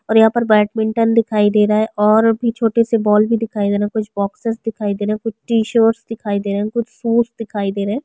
और बैडमिंटन दिखाई दे रहा है और भी छोटे से बॉल दिखाई दे रहे है कुछ बॉक्सेस दिखाई दे रहे है कुछ टी शर्ट दिखाई दे रहे है कुछ शूज दिखाई दे रहे है।